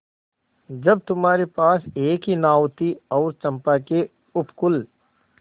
जब तुम्हारे पास एक ही नाव थी और चंपा के उपकूल